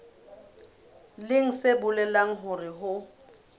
leng se bolelang hore ho